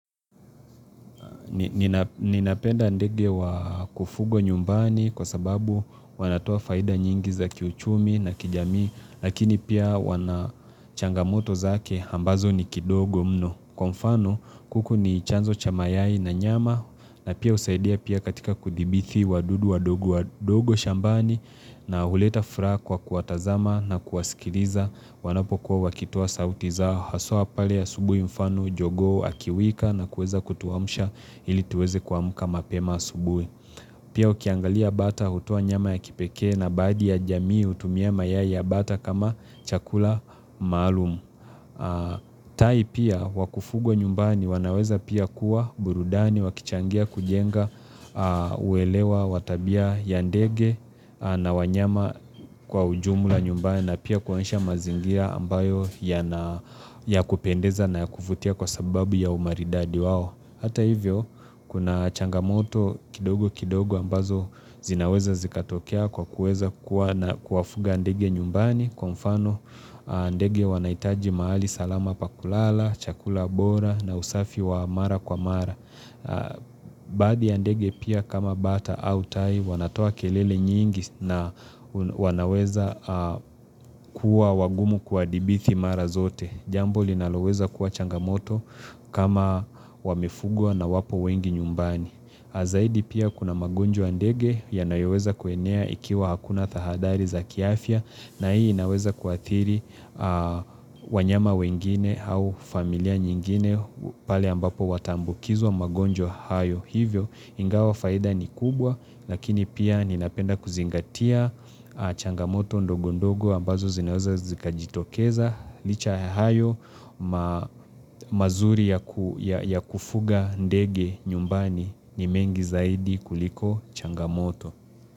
Na ninapenda ndege wa kufugwa nyumbani kwa sababu wanatoa faida nyingi za kiuchumi na kijami Lakini pia wanachangamoto zake ambazo ni kidogo mno Kwa mfano kuku ni chanzo cha mayai na nyama na pia husaidia pia katika kudhibiti wadudu wadogo shambani na huleta furaha kwa kuatazama na kuwaskiliza wanapo kuwa wakitoa sauti zao Haswa pale asubuhi mfano, jogo, akiwika na kueza kutuamsha ili tuweze kuamuka mapema asubuhi Pia ukiangalia bata hutoa nyama ya kipeke na badi ya jamii hutumia mayai ya bata kama chakula maalumu tai pia wakufugwa nyumbani wanaweza pia kuwa burudani wakichangia kujenga uelewa watabia ya ndege na wanyama kwa ujumula nyumbani na pia kuonesha mazingira ambayo ya kupendeza na kuvutia kwa sababu ya umaridadi wao. Hata hivyo, kuna changamoto kidogo kidogo ambazo zinaweza zikatokea kwa kuweza kuwa na kuwafuga ndege nyumbani, kwa mfano ndege wanaitaji mahali salama pakulala, chakula bora na usafi wa mara kwa mara. Baadhi ndege pia kama bata au tai, wanatoa kelele nyingi na wanaweza kuwa wagumu kuwa dhibiti mara zote. Jambo linaloweza kuwa changamoto kama wamefugwa na wapo wengi nyumbani. Zaidi pia kuna magonjwa ya ndege ya nayoweza kuenea ikiwa hakuna tahadhari za kiafya na hii inaweza kuathiri wanyama wengine au familia nyingine pale ambapo wataambukizwa magonjwa hayo. Hivyo ingawa faida ni kubwa lakini pia ninapenda kuzingatia changamoto ndogo ndogo ambazo zinaoza zikajitokeza licha ya hayo mazuri ya kufuga ndege nyumbani ni mengi zaidi kuliko changamoto.